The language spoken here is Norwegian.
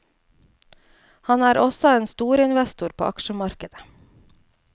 Han er også en storinvestor på aksjemarkedet.